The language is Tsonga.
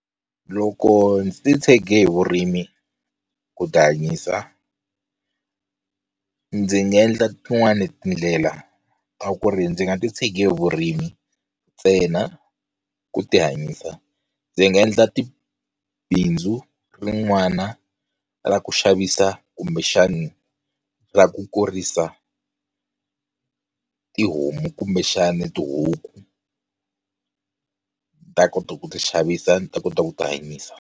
Loko ndzi titshege hi vurimi ku ti hanyisa ndzi nga endla tin'wani tindlela a ku ri ndzi nga titshege hi vurimi ntsena ku ti hanyisa ndzi nga endla ti bindzu rin'wana ra ku xavisa kumbexana ra ku kurisa tihomu kumbexana tihuku ti ta kota ku ti xavisa ni ta kota ku ti hanyisa.